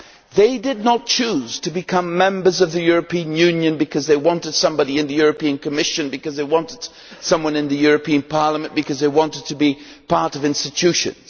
They did not choose to become members of the European Union because they wanted somebody in the European Commission, because they wanted somebody in the European Parliament or because they wanted to be part of institutions.